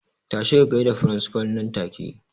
Tashi ka gaida firinsifal nan take!